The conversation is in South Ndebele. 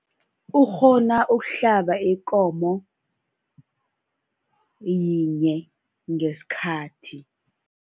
Ukghona ukuhlaba ikomo yinye ngesikhathi.